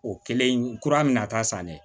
O kɛlen kura min na ta san dɛ